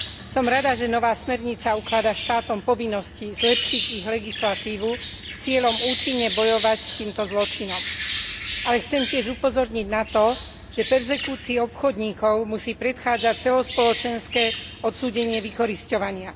Som rada, že nová smernica ukladá štátom povinnosti zlepšiť ich legislatívu s cieľom účinne bojovať s týmto zločinom, ale chcem tiež upozorniť na to, že perzekúcii obchodníkov musí predchádzať celospoločenské odsúdenie vykorisťovania.